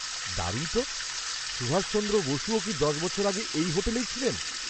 দারুণ তো! সুভাষচন্দ্র বসুও কি দশ বছর আগে এই হোটেলেই ছিলেন?